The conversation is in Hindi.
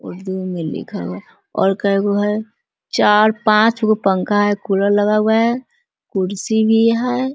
उर्दू में लिखा है और कैगो है चार पाँच गो पंखा है कूलर लगा हुआ है कुर्सी भी है ।